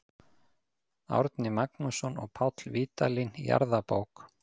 Árni Magnússon og Páll Vídalín, Jarðabók.